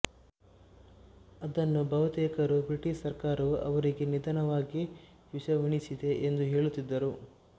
ಅದನ್ನು ಬಹುತೇಕರು ಬ್ರಿಟಿಶ್ ಸರ್ಕಾರವು ಅವರಿಗೆ ನಿಧಾನವಾಗಿ ವಿಷ ಉಣಿಸಿದೆ ಎಂದು ಹೇಳುತ್ತಿದ್ದರು